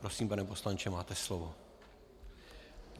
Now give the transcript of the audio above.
Prosím, pane poslanče, máte slovo.